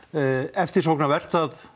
eftirsóknarvert að